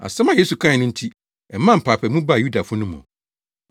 Asɛm a Yesu kae no nti, ɛmaa mpaapaemu baa Yudafo no mu.